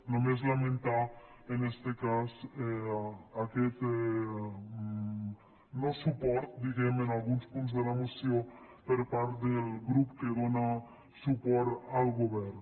només lamentar en este cas aquest no suport diguem ne a alguns punts de la moció per part del grup que dóna suport al govern